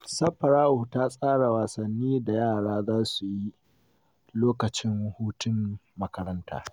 Safara’u ta tsara wasannin da yara za su yi lokacin hutun makaranta.